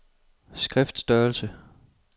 skriftstørrelse